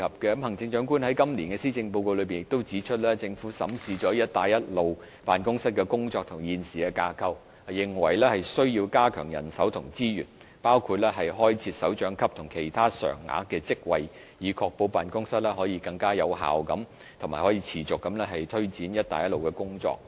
行政長官在今年的施政報告內亦指出，政府審視了辦公室的工作及現時的架構，認為需要加強人手及資源，包括開設首長級及其他常額的職位，以確保辦公室可以更有效及持續地推展"一帶一路"的工作。